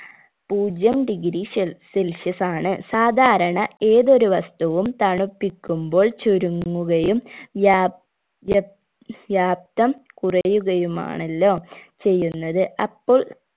പൂജ്യം degree ഷെൽ celsius ആണ് സാധാരണ ഏതൊരു വസ്തുവും തണുപ്പിക്കുമ്പോൾ ചുരുങ്ങുകയും വ്യാപ് വ്യപ്‌ വ്യാപ്‌തം കുറയുകയുമാണല്ലോ ചെയ്യുന്നത് അപ്പോൾ